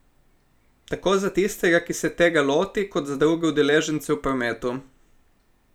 Tako za tistega, ki se tega loti, kot za druge udeležence v prometu.